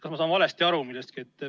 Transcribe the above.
Kas ma saan millestki valesti aru?